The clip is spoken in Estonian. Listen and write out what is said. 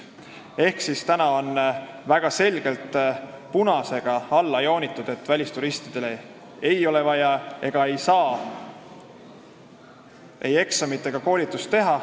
Ehk on punasega alla joonitud, et välisturistidele ei ole vaja ei eksamit ega koolitust korraldada ega saagi seda teha.